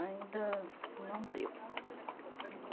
Ainda não deu.